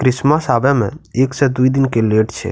Christmas आवे में एक से दुइ दिन के लेट छै।